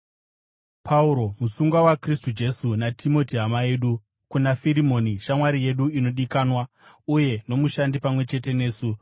Pauro, musungwa waKristu Jesu, naTimoti hama yedu, kuna Firimoni shamwari yedu inodikanwa uye nomushandi pamwe chete nesu,